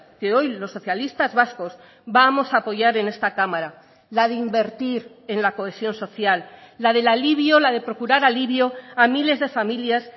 que hoy los socialistas vascos vamos a apoyar en esta cámara la de invertir en la cohesión social la del alivio la de procurar alivio a miles de familias